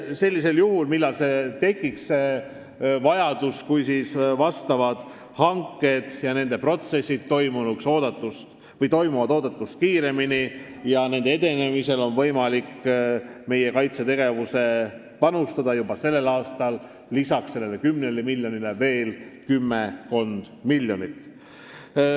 Sellisel juhul, kui vastavad hanked toimuvad oodatust kiiremini ja nende edenemisel on võimalik meie kaitsetegevusse panustada juba sellel aastal, lisataks sellele 10 miljonile veel kümmekond miljonit.